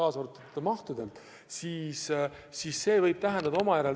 See käib ka mahtude kohta.